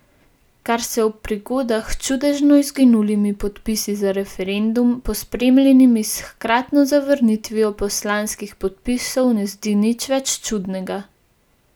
Kar se ob prigodah s čudežno izginulimi podpisi za referendum, pospremljenimi s hkratno zavrnitvijo poslanskih podpisov ne zdi več nič čudnega.